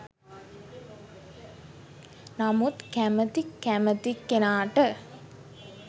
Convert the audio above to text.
නමුත් කැමති කැමති කෙනාට